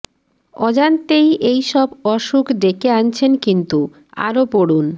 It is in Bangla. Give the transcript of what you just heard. অজান্তেই এই সব অসুখ ডেকে আনছেন কিন্তু আরও পড়ুন